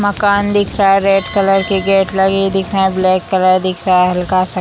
मकान दिख रहा है रेड कलर के गेट लगे दिख रहे हैं ब्लैक कलर दिख रहा है हल्का-सा।